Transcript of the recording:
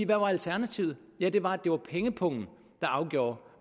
hvad var alternativet ja det var at det var pengepungen der afgjorde